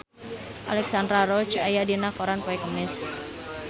Alexandra Roach aya dina koran poe Kemis